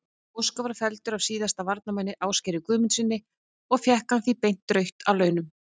Óskar var felldur af síðasta varnarmanni, Ásgeiri Guðmundssyni og fékk hann beint rautt að launum.